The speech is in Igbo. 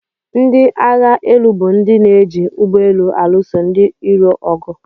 Ndị agba élú bụ ndị na-eji ugbọelu alụso ndị irò ọgụ.